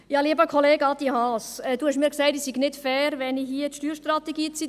Adrian Haas, Sie haben mir gesagt, ich sei nicht fair, wenn ich hier die Steuerstrategie zitiere.